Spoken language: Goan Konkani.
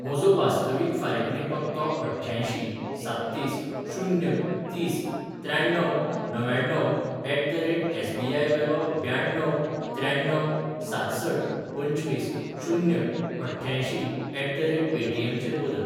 म्हजो वास्तवीक फारिकणी पत्तो अठ्ठ्यांयशीं साततीस शून्य तीस त्र्याण्णव णव्याण्णव ऍट द रेट एसबीआय वेलो ब्याण्णव त्र्याण्ण्व सातसठ पंचवीस शून्य अठ्ठ्यांयशीं ऍट द रेट पेटीएम चेर बदल.